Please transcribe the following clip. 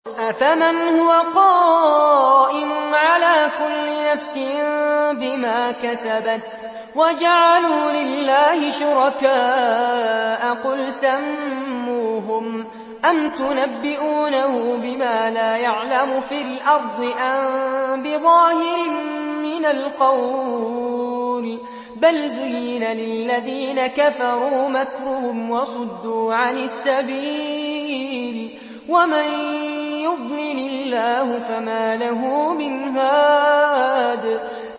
أَفَمَنْ هُوَ قَائِمٌ عَلَىٰ كُلِّ نَفْسٍ بِمَا كَسَبَتْ ۗ وَجَعَلُوا لِلَّهِ شُرَكَاءَ قُلْ سَمُّوهُمْ ۚ أَمْ تُنَبِّئُونَهُ بِمَا لَا يَعْلَمُ فِي الْأَرْضِ أَم بِظَاهِرٍ مِّنَ الْقَوْلِ ۗ بَلْ زُيِّنَ لِلَّذِينَ كَفَرُوا مَكْرُهُمْ وَصُدُّوا عَنِ السَّبِيلِ ۗ وَمَن يُضْلِلِ اللَّهُ فَمَا لَهُ مِنْ هَادٍ